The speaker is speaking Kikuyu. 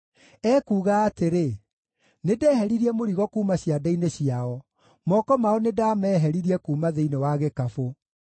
Ekuuga atĩrĩ, “Nĩndeheririe mũrigo kuuma ciande-inĩ ciao; moko mao nĩndameheririe kuuma thĩinĩ wa gĩkabũ.